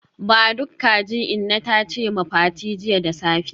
Ba duk kaji inna tace ma Fati jiya da safe